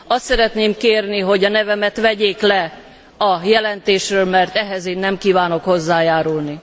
Azt szeretném kérni, hogy a nevemet vegyék le a jelentésről, mert ehhez én nem kívánok hozzájárulni.